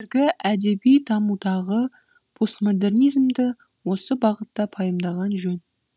қазіргі әдеби дамудағы постмодернизмді осы бағытта пайымдаған жөн